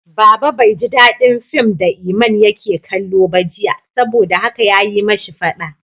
Baba bai ji dadin fim da Iman yake kallo ba jiya, saboda haka ya yi ma shi fada.